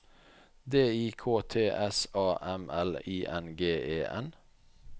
D I K T S A M L I N G E N